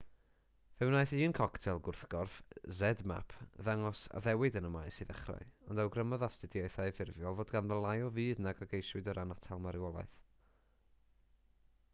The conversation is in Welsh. fe wnaeth un coctel gwrthgorff zmapp ddangos addewid yn y maes i ddechrau ond awgrymodd astudiaethau ffurfiol fod ganddo lai o fudd nag a geisiwyd o ran atal marwolaeth